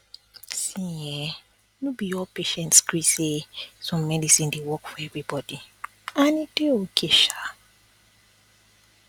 see um be all patients gree say same medicine dey work for everybody and e dey okay sha